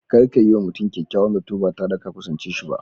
Kada ka yi wa mutum kyakyawan Zato ba tare da ka kusance shi ba.